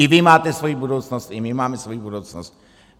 I vy máte svoji budoucnost, i my máme svoji budoucnost.